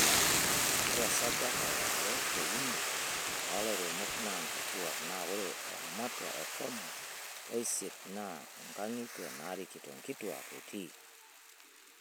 Ore esajata yare te uni oo lairemok naa nkituak naa ore ematua e tomon oisiet naa nkang'itie naarikito nkituak etii.